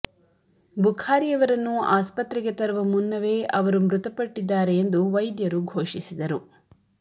ಬುಖಾರಿಯವರನ್ನು ಆಸ್ಪತ್ರೆಗೆ ತರುವ ಮುನ್ನವೇ ಅವರು ಮೃತಪಟ್ಟಿದ್ದಾರೆ ಎಂದು ವೈದ್ಯರು ಘೋಷಿಸಿದರು